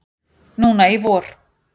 Núna í vor.